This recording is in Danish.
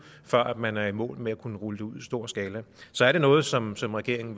før man er i mål med at kunne rulle det ud i stor skala så er det noget som som regeringen